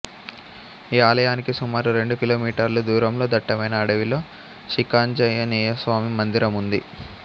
ఈ ఆలయానికి సుమారు రెండు కిలోమీటర్లు దూరంలో దట్టమైన అడవిలో శిఖాంజనేయస్వామి మందిరం ఉంది